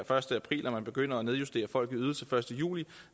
første april og at man begynder at nedjustere folk i ydelser den første juli